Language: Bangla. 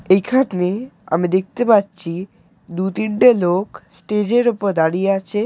এই এখানে আমি দেখতে পাচ্ছি দু তিনটে লোক স্টেজের উপর দাঁড়িয়ে আছে।